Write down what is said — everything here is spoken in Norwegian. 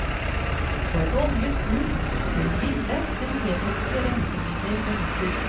På et oljet gulv bør milde, syntetiske rensemidler benyttes.